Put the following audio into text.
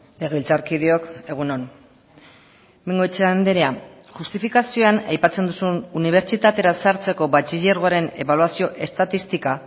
legebiltzarkideok egun on bengoechea andrea justifikazioan aipatzen duzun unibertsitatera sartzeko batxilergoaren ebaluazio estatistika